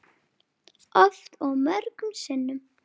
Oft og mörgum sinnum.